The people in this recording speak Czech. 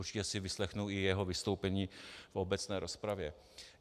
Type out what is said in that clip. Určitě si vyslechnu i jeho vystoupení v obecné rozpravě.